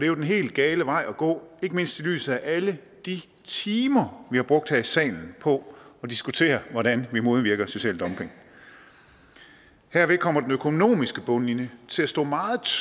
jo den helt gale vej at gå ikke mindst i lyset af alle de timer vi har brugt her i salen på at diskutere hvordan vi modvirker social dumping herved kommer den økonomiske bundlinje til at stå meget